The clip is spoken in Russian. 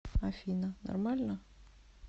афина нормально